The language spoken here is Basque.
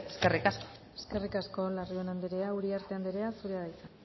eskerrik asko eskerrik asko larrion anderea uriarte andrea zurea da hitza